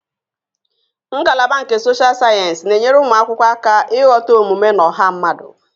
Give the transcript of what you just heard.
Ngalaba nke Sochal sayensị na-enyere ụmụ akwụkwọ aka ịghọta omume na ọha mmadụ